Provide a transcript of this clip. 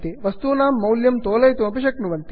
वस्तूनां मौल्यं तोलयितुमपि शक्नुवन्ति